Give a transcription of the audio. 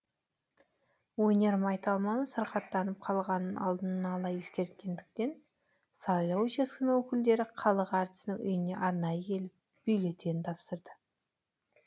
өнер майталманы сырқаттанып қалғанын алдын ала ескерткендіктен сайлау учаскенің өкілдері халық әртісінің үйіне арнайы келіп бюллетень тапсырды